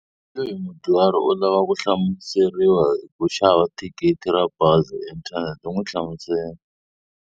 Hi loyi mudyuhari u lava ku hlamuseriwa hi ku xava thikithi ra bazi hi inthanete, n'wi hlamusele.